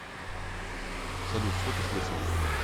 салют что ты слышал